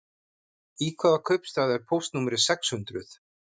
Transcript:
Í hvaða kaupstað er póstnúmerið sex hundruð?